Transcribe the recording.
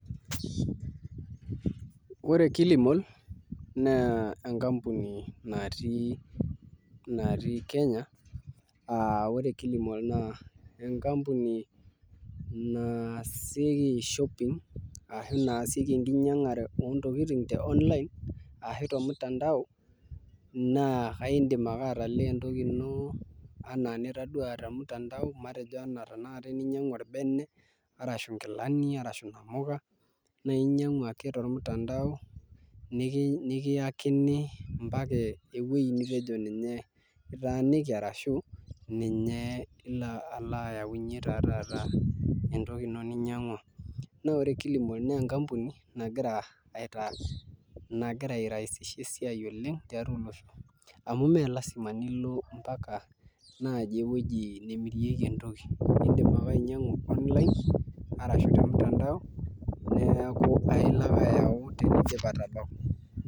Ore Kilimall naa enkampuni natii Kenya aa ore Kilimall naa enkampuni naasieki shopping ashu naasieki enkinyang'are oo ntokiting te online ashu te mtandao naa aindim ake atalaa entoki ino anaa enitadua te mtandao matejo enaa tenakata eninyang'u orbene arashu inkilani arshu inamuka, nainyang'u ake tormutandao nekiyakini ompaka ewuei nitejo ninye itaaniki arashu ninye ilo ayaunye taa taata entoki ino ninyang'wa. Naa ore Kilimall naa enkampuni nagira airaisisha esiai oleng tiatwa olosho. Amu mee lazima nilo mpaka ewueji naaji nemirieki entoki. Iindim ake ainyang'u online arashu te mtandao neeku ailo ake ayau tenidip atabau